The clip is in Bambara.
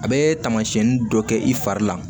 A bɛ taamasiɲɛnin dɔ kɛ i fari la